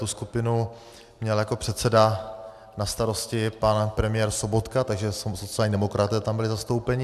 Tu skupinu měl jako předseda na starosti pan premiér Sobotka, takže sociální demokraté tam byli zastoupeni.